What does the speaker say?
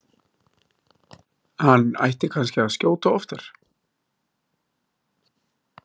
Hann ætti kannski að skjóta oftar?